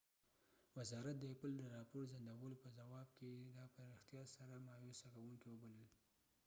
وزارت د ایپل د راپور ځنډولو په ځواب کې دا په ریښتیا سره مایوسه کوونکي وبلل